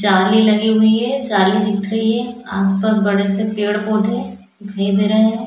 जाली लगी हुई है जाली दिख रही है आस पास बड़े से पेड़ पौधे नहीं दे रहा है।